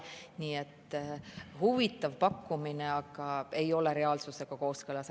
Nii et huvitav pakkumine, aga see ei ole reaalsusega kooskõlas.